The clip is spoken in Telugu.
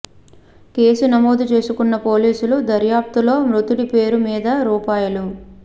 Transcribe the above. కేసు నమోదు చేసుకున్న పోలీసులు దర్యాప్తులో మృతుడి పేరు మీద రూ